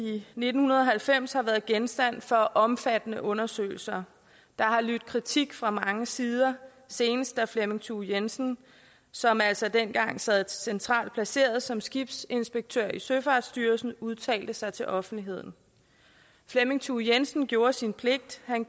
nitten halvfems har været genstand for omfattende undersøgelser der har lydt kritik fra mange sider senest da flemming thue jensen som altså dengang sad centralt placeret som skibsinspektør i søfartsstyrelsen udtalte sig til offentligheden flemming thue jensen gjorde sin pligt han